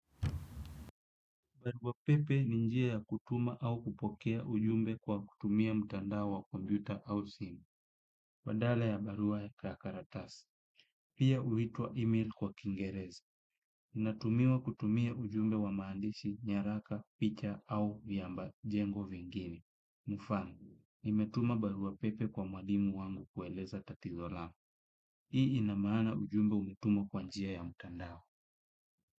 Barua pepe ni njia ya kutuma au kupokea ujumbe kwa kutumia mtandao wa kompyuta au simu. Badala ya barua ya karatasi pia huitwa email kwa kiingereza. Unatumiwa kutumia ujumbe wa maandishi, nyaraka, picha au viamba jengo vingine. Mfano, nimetuma barua pepe kwa mwalimu wangu kueleza tatizo langu. Hii ina maana ujumbe umetumwa kwa njia ya mtandao.